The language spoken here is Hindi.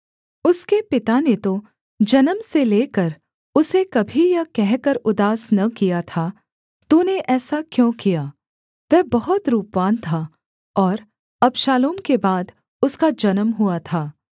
उसके पिता ने तो जन्म से लेकर उसे कभी यह कहकर उदास न किया था तूने ऐसा क्यों किया वह बहुत रूपवान था और अबशालोम के बाद उसका जन्म हुआ था